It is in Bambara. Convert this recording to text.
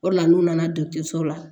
O de la n'u nana dɔgɔtɔrɔso la